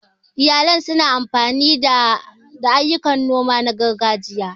Iyalan su na amfani da ayyukan noma na gargajiya.